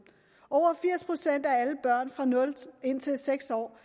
over firs procent af alle børn fra nul seks år